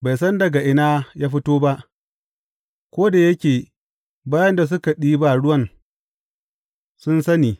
Bai san daga ina ya fito ba, ko da yake bayin da suka ɗiba ruwan sun sani.